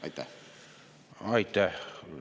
Aitäh!